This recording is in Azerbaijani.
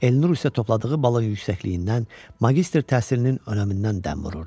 Elnur isə topladığı balın yüksəkliyindən, magistr təhsilinin önəmindən dəm vururdu.